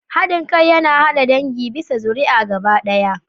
Haɗin kai yana haɗa dangi bisa ga zuriya gaba ɗaya.